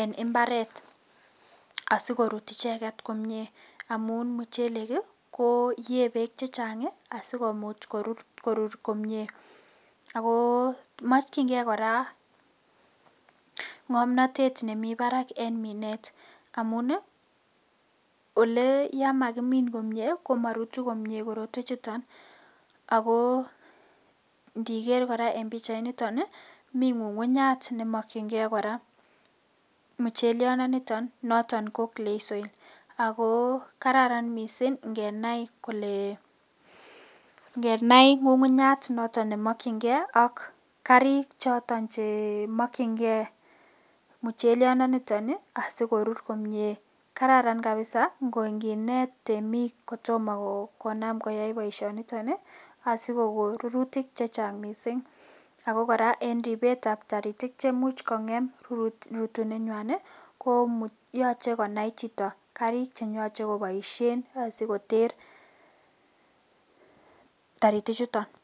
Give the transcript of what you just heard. en imbaret asikorut icheget komie amun muchelek ii koo yee beek chechang ii asikomuch korut komie ako mokchingee koraa ngomnotet nemi barak en minet amun ii oleyamakimin komie ii komorutu komie korotwechuton akoo ingiker koraa en pichainiton ii mi ngungunyaat nemokyingee koraa mucheliondoniton noton ko clay soil ako kararan misink ingenai kole ,ingenai ngungunyaat noton nemokyingee ak karik choton chemokyinigee mucheliondoniton ii asikorur komie, kararan kabisa inginet temik konam koyai boishoniton ii asikokon rurutik chemiachen ,ako koraa en ribetab toritik chemuch kongem rutunenywan ii koyoche konai chito karik cheyoche koboisien asikoter toritichuton.